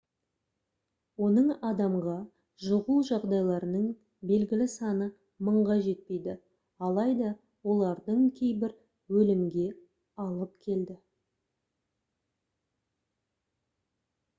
оның адамға жұғу жағдайларының белгілі саны мыңға жетпейді алайда олардың кейбірі өлімге алып келді